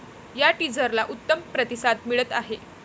या टीझरला उत्तम प्रतिसाद मिळत आहे.